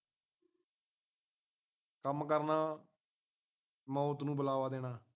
ਕੰਮ ਕਰਨਾ ਮੌਤ ਨੂੰ ਬੁਲਾਵਾ ਦੇ ਨਾ